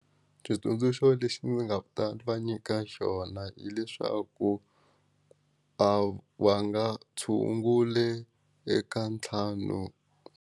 Xitsundzuxo lexi ndzi nga ta va nyika xona hileswaku a va nga tshungule eka ntlhanu.